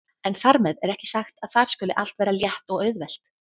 En þar með er ekki sagt að þar skuli allt vera létt og auðvelt.